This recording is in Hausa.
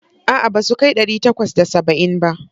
A'a, ba su kai ɗari takwas da saba'in ba.